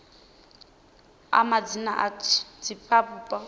a madzina a divhavhupo kha